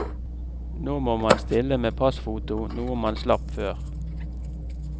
Nå må man stille med passfoto, noe man slapp før.